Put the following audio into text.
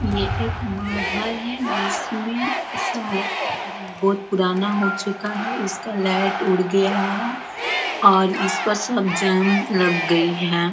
ये एक महल है जिसमें बहुत पुराना हो चुका है इसका लैट उड़ गया है और इस पर सब जंग लग गई है।